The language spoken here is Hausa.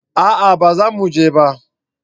a'a ba za mu je ba